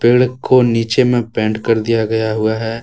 पेड़ को नीचे में पेंट कर दिया गया है।